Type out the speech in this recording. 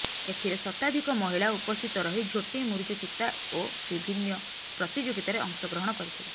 ଏଥିରେ ଶତାଧିକ ମହିଳା ଉପସ୍ଥିତ ରହି ଝୋଟି ମୁରୁଜ ଚିତା ଓ ବିଭିନ୍ନ ପ୍ରତିଯୋଗିତାରେ ଅଂଶଗ୍ରହଣ କରିଥିଲେ